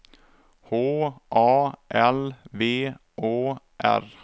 H A L V Å R